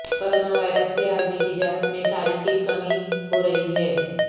coronavirus سے عالمی تجارت میں تاریخی کمی ہورہی ہے